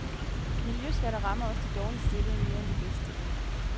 Miljøskatter rammer også de dårligst stillede mere end de bedst stillede.